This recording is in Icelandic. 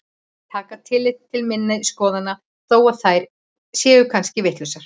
Taka tillit til minna skoðana þó að þær séu kannski vitlausar.